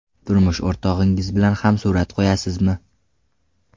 Turmush o‘rtog‘ingiz bilan ham surat qo‘yasizmi?